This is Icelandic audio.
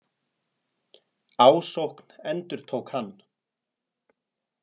Ásókn, endurtók hann.